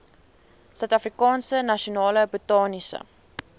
suidafrikaanse nasionale botaniese